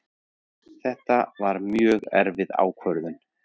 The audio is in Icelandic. Þetta var mjög erfið ákvörðun